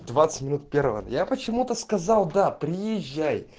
двадцать минут первого и я почему-то сказал да приезжай